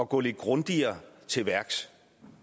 gå lidt grundigere til værks